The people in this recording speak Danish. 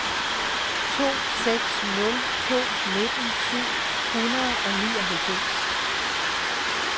to seks nul to nitten syv hundrede og nioghalvfems